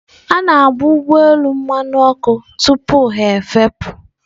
A na-agba ụgbọ elu mmanụ ọkụ tupu ha efepụ.